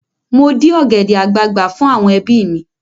Mo dí ọ̀gẹ̀dẹ̀ àgbagbà fún àwọn ẹbí mi.